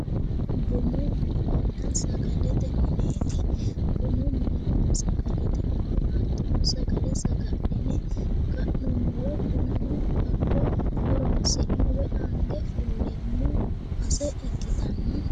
Bunu minenna sagalete nineeti, bunu minenna sagalete mine hattono sagale saga'line ka; nummoro bunano hakko horonsi'ne woyi ange fulleemmo base ikkitanna.